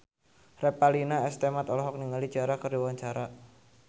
Revalina S. Temat olohok ningali Ciara keur diwawancara